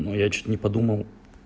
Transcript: но я что-то не подумал